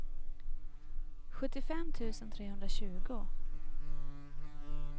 sjuttiofem tusen trehundratjugo